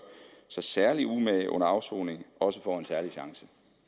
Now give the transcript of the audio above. sig særlig umage under afsoningen også får en særlig chance